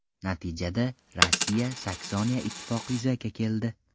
Natijada, Rossiya–Saksoniya ittifoqi yuzaga keldi.